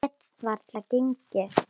Ég get varla gengið.